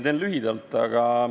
Teen lühidalt.